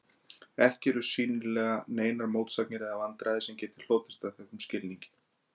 Ekki eru sýnilega neinar mótsagnir eða vandræði sem geti hlotist af þessum skilningi.